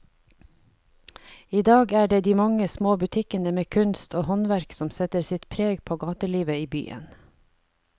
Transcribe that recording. I dag er det de mange små butikkene med kunst og håndverk som setter sitt preg på gatelivet i byen.